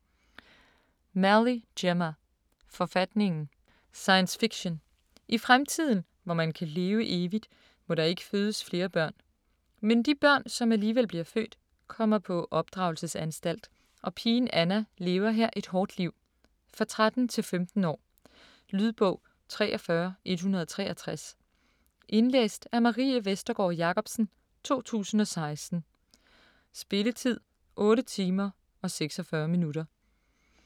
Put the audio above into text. Malley, Gemma: Forfatningen Science fiction. I fremtiden, hvor man kan leve evigt, må der ikke fødes flere børn. Men de børn, som alligevel bliver født kommer på opdragelsesanstalt, og pigen Anna lever her et hårdt liv. For 13-15 år. Lydbog 43163 Indlæst af Marie Vestergård Jacobsen, 2016. Spilletid: 8 timer, 46 minutter.